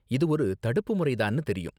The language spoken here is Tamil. இது ஒரு தடுப்பு முறை தான்னு தெரியும்.